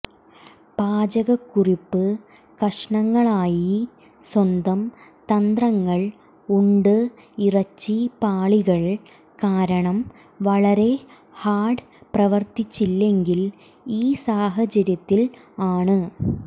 പാചകക്കുറിപ്പ് കഷണങ്ങളായി സ്വന്തം തന്ത്രങ്ങൾ ഉണ്ട് ഇറച്ചി പാളികൾ കാരണം വളരെ ഹാർഡ് പ്രവർത്തിച്ചില്ലെങ്കിൽ ഈ സാഹചര്യത്തിൽ ആണ്